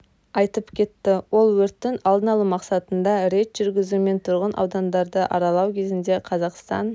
айтып кетті ол өрттің алдын алу мақсаттарында рейд жүргізу мен тұрғын аудандарды аралау кезінде қазақстан